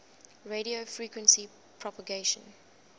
radio frequency propagation